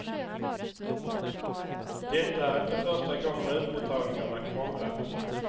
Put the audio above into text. Detta är inte första gången utbetalningarna krånglat.